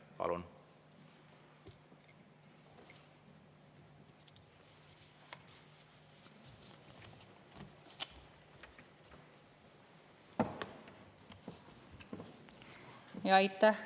Palun!